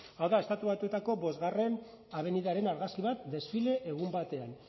hau da estatu batuetako bostgarrena etorbidearen argazki bat desfile egun batean